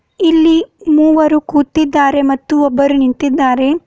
ಇಲ್ಲಿ ಮೂವರು ಕೂತಿದ್ದಾರೆ ಮತ್ತು ಒಬ್ಬರು ನಿಂತಿದ್ದಾರೆ.